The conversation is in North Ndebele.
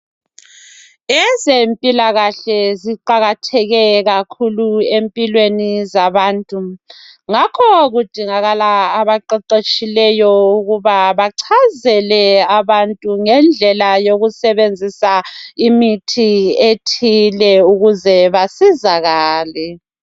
Ezempilakahle ziqakatheke kakhulu empilweni zabantu. Ngakho kudingakala abaqeqetshileyo ukuba bachazele abantu ngendlela yokusebenzisa imithi ethile ukuze basizakale.